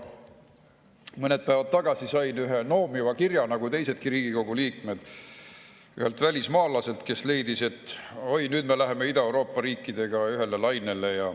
Mõned päevad tagasi sain nagu teisedki Riigikogu liikmed noomiva kirja ühelt välismaalaselt, kes leidis, et oi, nüüd me läheme Ida-Euroopa riikidega ühele lainele.